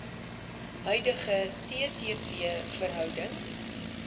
huidige ttv verhouding